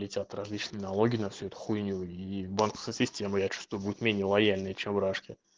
летят различные налоги на всю эту хуйню и банковская система я чувствую будет менее лояльная чем в рашке